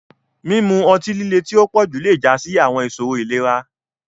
Mimu ọti-lile ti o pọju le ja si awọn iṣoro ilera.